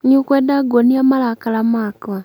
nĩũkwenda nguonĩe marakara makwa?